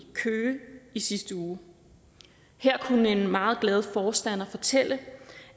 køge i sidste uge her kunne en meget glad forstander fortælle